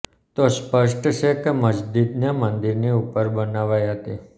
તો સ્પષ્ટ છે કે મસ્જિદને મંદિરની ઉપર બનાવાઈ હતી